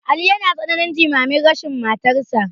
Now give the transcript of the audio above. Ali yana tsananin jimamin rashin matarsa.